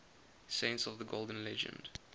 saints of the golden legend